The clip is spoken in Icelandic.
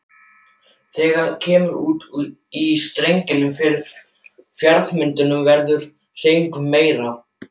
Þegar kemur út í strenginn fyrir fjarðarmynninu verður hreyfingin meiri.